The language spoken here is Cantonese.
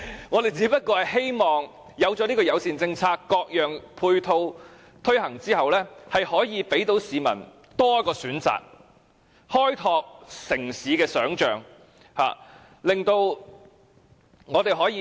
我們只是希望制訂友善政策，各種配套措施推行後，市民有多一個交通工具的選擇，開拓城市的想象。